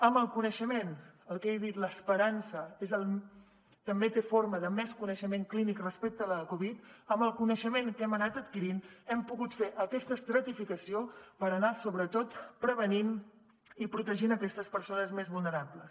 amb el coneixement el que he dit l’esperança també té forma de més coneixement clínic respecte de la covid que hem anat adquirint hem pogut fer aquesta estratificació per anar sobretot prevenint i protegint aquestes persones més vulnerables